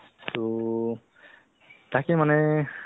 অ' না না নিশ্চয় নিশ্চয় ভাল actually কথাতো কি জানা ?